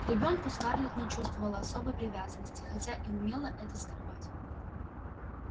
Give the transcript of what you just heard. к ребёнку скарлетт не чувствовала особой привязанности хотя и умела это скрывать